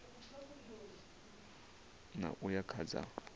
ṋ a uya kha dza